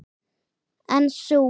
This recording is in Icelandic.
En sú